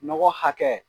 Nɔgɔ hakɛ